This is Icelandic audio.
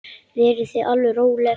Verið þið alveg róleg.